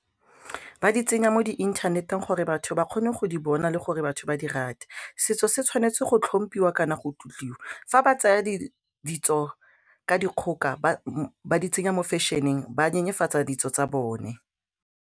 Ba di tsenya mo di inthaneteng gore batho ba kgone go di bona le gore batho ba di rate, setso se tshwanetse go tlhomphiwa kana go tlotliwa fa ba tsaya ditso ka dikgoka va di tsenya mo fashion-eng ba nyenyefatse ditso tsa bone.